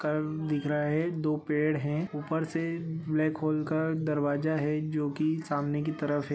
मकान दिख रहा है दो पेड़ है ऊपर से ब्लाक होल का दरवाजा है जो कि सामने की तरफ है।